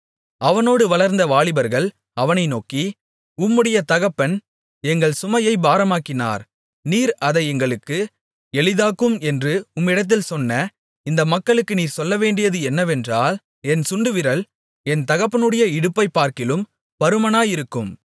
அவனோடு வளர்ந்த வாலிபர்கள் அவனை நோக்கி உம்முடைய தகப்பன் எங்கள் சுமையை பாரமாக்கினார் நீர் அதை எங்களுக்கு எளிதாக்கும் என்று உம்மிடத்தில் சொன்ன இந்த மக்களுக்கு நீர் சொல்லவேண்டியது என்னவென்றால் என் சுண்டுவிரல் என் தகப்பனுடைய இடுப்பைப்பார்க்கிலும் பருமனாயிருக்கும்